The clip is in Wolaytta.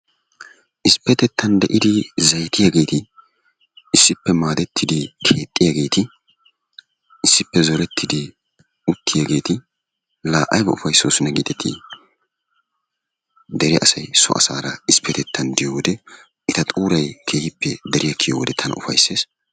Issipettettan de'idi zeeyiyaageti issippe maadettidi keexxiyaageti issippe zoorettidi uttiyaageti la ayba upayssoosona gidetii! Dere asay so asaara issipettettan diyoo wode eta xuuray keehipe deriyaa kiyoode tana keehippe upayssees.